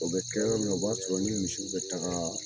O bɛ kɛ yɔrɔ min na, o b'a sɔrɔ ni misiw bɛ taga